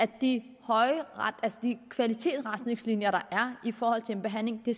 de kvalitetsretningslinjer der er i forhold til en behandling det